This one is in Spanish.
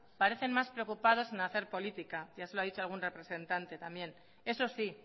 parecen más preocupados en hacer política ya se lo han dicho algún representante también eso sí